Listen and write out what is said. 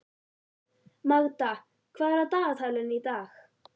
Magda, hvað er á dagatalinu í dag?